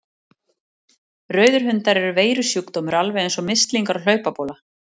Rauðir hundar eru veirusjúkdómur alveg eins og mislingar og hlaupabóla.